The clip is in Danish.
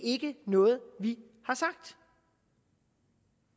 er ikke noget vi har sagt